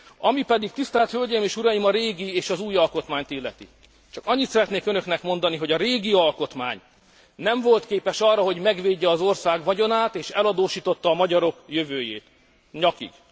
Ami pedig, tisztelt hölgyeim és uraim, a régi és az új alkotmányt illeti, csak annyit szeretnék önöknek mondani, hogy a régi alkotmány nem volt képes arra, hogy megvédje az ország vagyonát és eladósította a magyarok jövőjét, nyakig.